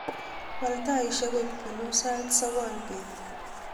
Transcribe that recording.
wal taisiek koik buluu sait sogol beet